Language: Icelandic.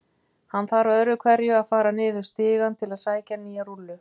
Hann þarf öðru hverju að fara niður stigann til að sækja nýja rúllu.